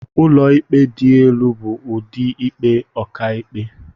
Ụlọikpe dị elu bụ ụdị ikpe ọkàikpe..